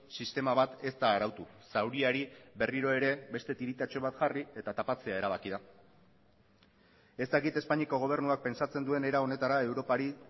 sistema bat ez da arautu zauriari berriro ere beste tiritatxo bat jarri eta tapatzea erabaki da ez dakit espainiako gobernuak pentsatzen duen era honetara europari